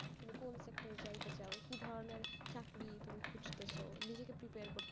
তুমি কোন sector এ যাইতে চাও, কি ধরনের চাকরি তুমি খুঁজতেস, নিজেরে prepare কর,